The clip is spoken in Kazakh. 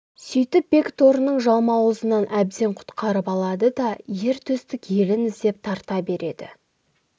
сөйтіп бекторының жалмауызынан әбден құтылып алады да ер төстік елін іздеп тарта береді